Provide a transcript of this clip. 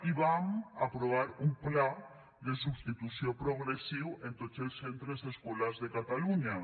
i vam aprovar un pla de substitució progressiu en tots els centres escolars de catalunya